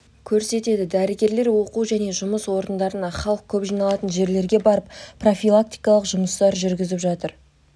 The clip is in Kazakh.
көрсетеді дәрігерлер оқу және жұмыс орындарына халық көп жиналатын жерлерге барып профилактикалық жұмыстар жүргізіп жатыр